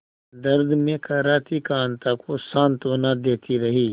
दर्द में कराहती कांता को सांत्वना देती रही